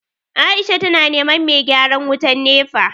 Aisha tana neman mai gyaran wutan NEPA